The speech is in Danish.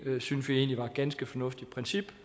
synes vi egentlig var et ganske fornuftigt princip